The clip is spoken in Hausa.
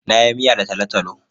Na yi miya da talotalo.